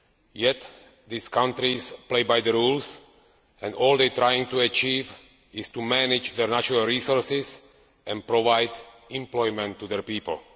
Yet these countries play by the rules and all they are trying to achieve is to manage natural resources and provide employment for their people.